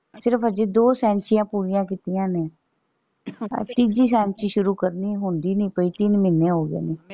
ਸਿਰਫ ਹਜੇ ਦੋ ਸੈਂਚੀਆਂ ਪੂਰੀਆਂ ਕੀਤੀਆਂ ਸੀ ਤੀਜੀ ਸੈਂਚੀ ਸ਼ੁਰੂ ਕਰਨੀ ਹੁੰਦੀ ਨਹੀਂ ਪਈ ਤਿੰਨ ਮਹੀਨੇ ਹੋਗਏ।